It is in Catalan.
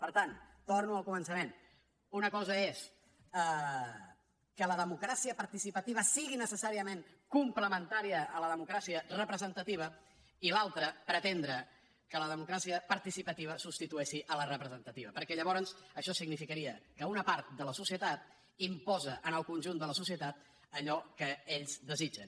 per tant torno al començament una cosa és que la democràcia participativa sigui necessàriament complementària a la democràcia representativa i l’altra pretendre que la democràcia participativa substitueixi la representativa perquè llavors això significaria que una part de la societat imposa al conjunt de la societat allò que ells desitgen